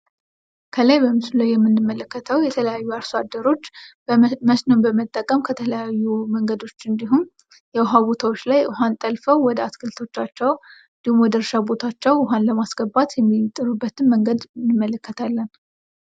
ከላይ ምስሉ ላይ የምንመለከተው የተለያዩ አርሶ አደሮች መስኖ በመጠቀም በተለያዩ መንገዶች ውሀማ ቦታዎች ላይ ውሀን በመጥለፍ ለማስገባት የሚጥሩበትን መንገድ እናያለን።